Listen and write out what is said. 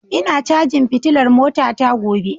Ina cajin fitilar motata gobe